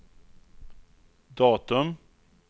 datum